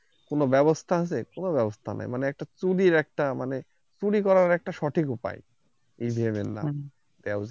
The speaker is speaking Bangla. কোন ব্যবস্থা আছে কোন ব্যবস্থা নাই মানে খুবেই একটা মানে চুরি করার একটা সঠিক উপায় EVEN নামে